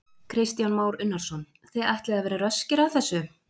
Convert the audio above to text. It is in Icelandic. Kristján Már Unnarsson: Þið ætlið að vera röskir að þessu?